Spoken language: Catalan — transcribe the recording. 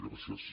gràcies